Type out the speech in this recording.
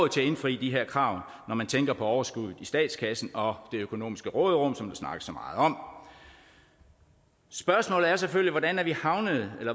til at indfri de her krav når man tænker på overskuddet i statskassen og det økonomiske råderum som der snakkes så meget om spørgsmålet er selvfølgelig